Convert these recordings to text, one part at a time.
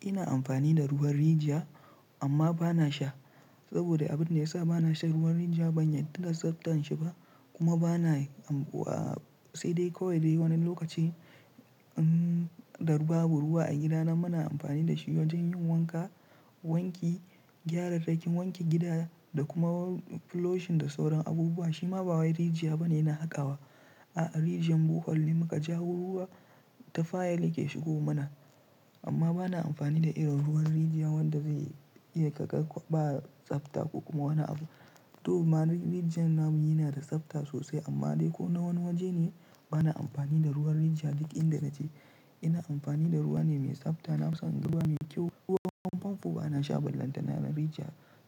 Ina amfani da ruwan rijiya amma ba na sha saboda abin da ya sa ba na sha ruwan rijiya ban yarda da tsabtan shi ba kuma ba na-- sai dai kawai dai wani lokaci, um, babu ruwa a gida nan muna amfani da shi wajen yin wanka, wanki, gyara daki wanki gida da kuma floshin da sauran abubuwa. Shi ma ba wai rijiya ba ne na haƙawa. A'a, rijiyan buhul ne mu ka ja ruwa, tafayal yake shigo mana. Amma ba na amfani da irin ruwan rijiya wanda zai iya ƙaƙar ba tsabta ko kuma wani abu. To, mana rijiyan namu yana da tsabta sosai amma dai ko na wani waje ne ba na amfani da ruwan rijiya duk inda naje. Ina amfani da ruwa ne mai tsabta. Na san ruwa ne kyau. Ruwan famfo ba na sha ban lantana na rijiya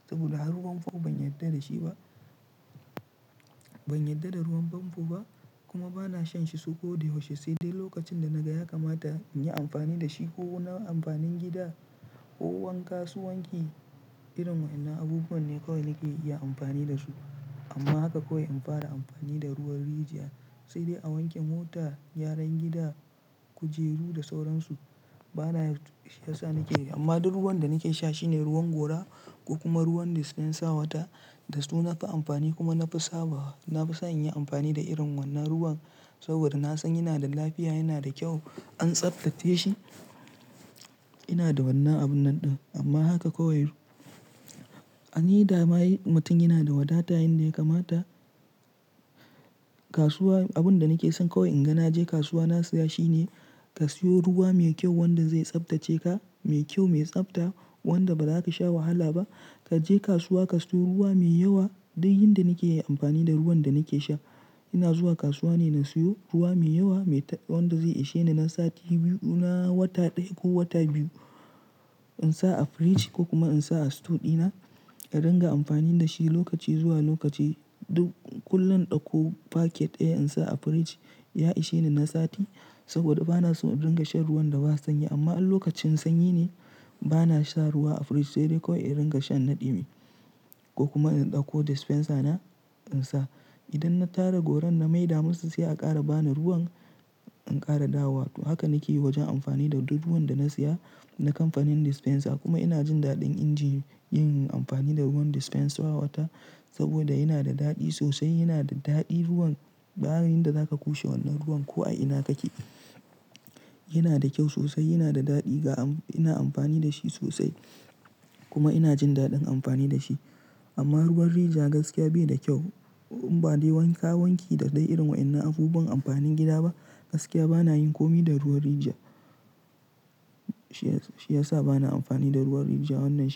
saboda har ruwan famfo ban yarda da shi ba. Ban yarda da ruwan famfo ba kuma ba na shan shi su ko dai yaushe sai dai lokacin da na ga ya kamata in yi amfani da shi ko na amfanin gida ko wanka su wanki irin wa'inna abubuwan ne kawai nake iya amfani da su. Amma haka kawai in fara amfani da ruwan rijiya sai dai a wanke mota, gyaran gida, kujeru da sauransu. Ba na, shi ya sa nake yi. Amma duk ruwan da nake sha shine ruwan gora ko kuma ruwan dispensa wata da su nafi amfani kuma nafi sabawa. Nafi son in yi amfani da irin wannan ruwan saboda na san yana da lafiya, yana da kyau an tsabtace shi. Ina da wannan abun nan ɗin amma haka kawai. An yi damar mutum yana da wadata yayinda ya kamata. Kasuwa, abin da nake son kawai in ga na je kasuwa na siya shi ne ka siyo ruwa mai kyau wanda zai tsabtace ka, mai kyau, mai tsabta wanda ba za ka sha wahala ba. Ka je kasuwa ka siyo ruwa mai yawa duk yin da nake yi amfani da ruwan da nake sha. Ina zuwa kasuwa ne na siyo ruwa mai yawa mai ta-- wanda zai isheni na sati biyu na wata ɗaya ko wata biyu. In sa a fridge ko kuma in sa a store dina, ka dinga amfani da shi lokaci zuwa lokaci duk kullum ɗauko packet ɗaya in sa a fridge ya isheni na sati saboda ba na so in dinga shan ruwan da ba sanyi. Amma in lokacin sanyi ne ba na sha ruwa a fridge sai dai kawai in dinga shan na ɗumi ko kuma in ɗauko dispenser na in sa. Idan na tara goron na mai da masu sai a ƙara bani ruwan in ƙara dawowa. Haka nake yi wajen amfani da duk ruwan da na siya na kamfanin dispenser kuma ina jin daɗin inji yin amfani da ruwan dispenser wata saboda yana da daɗi sosai, yana da daɗi ruwan. Bayanin da za ka kushe wannan ruwan ko a ina kake yana da kyau sosai, yana da daɗi ga am-- ina amfani da shi sosai kuma ina jin daɗin amfani da shi. Amma ruwan rijiya gaskiya bai da kyau. Ba dai wanka, wanki da dai irin wa'inna abubuwan amfanin gida ba. Gaskiya ba na yin kome da ruwan rijiya. Shi ya sa, shi ya sa ba na amfani da ruwan rijiya wannan shine.